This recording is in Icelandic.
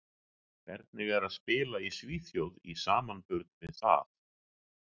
Hvernig er að spila í Svíþjóð í samanburði við það?